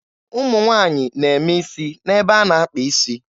Ụmụ nwaanyị na-eme isi n'ebe a na-akpa is.